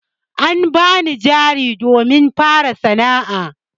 An bani jari domin fara sana'a.